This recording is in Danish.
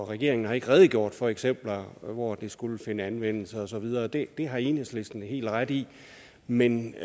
og at regeringen ikke har redegjort for eksempler hvor det skulle finde anvendelse og så videre det har enhedslisten helt ret i men